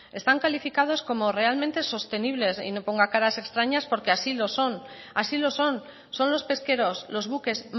están calificados como realmente sostenibles y no ponga caras extrañas porque así lo son y así lo son son los pesqueros los buques